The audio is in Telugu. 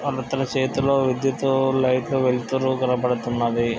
అవతల చేతిలో విదేట్టు లైటు లు వెలుతురూ కన్పడుతున్నవి.